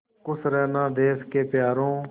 खुश रहना देश के प्यारों